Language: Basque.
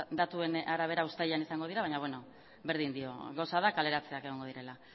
datuen arabera uztailean izango dira baina beno berdin dio gauza da kaleratzeak egongo direla